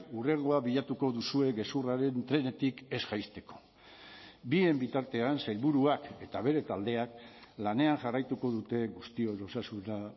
hurrengoa bilatuko duzue gezurraren trenetik ez jaisteko bien bitartean sailburuak eta bere taldeak lanean jarraituko dute guztion osasuna